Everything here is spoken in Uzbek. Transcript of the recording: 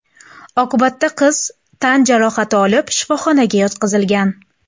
Oqibatda qiz tan jarohati olib shifoxonaga yotqizilgan.